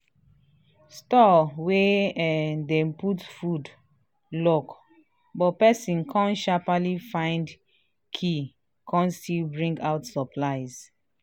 store wey um dem dey put food lock but pesin kan shapaly find key kan still bring out supplies